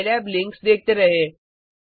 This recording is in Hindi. साईलैब लिंक्स देखते रहें